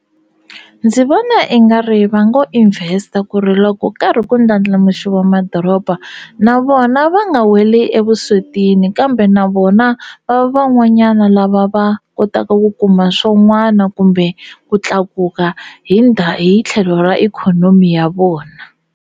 Ndzi vona i nga ri va ngo invest-a ku ri loko karhi ku ndlandlamuxiwa madoroba na vona va nga weli evuswetini kambe na vona va va van'wanyana lava va kotaka ku kuma swon'wana kumbe ku tlakuka hi hi tlhelo ra ikhonomi ya vona.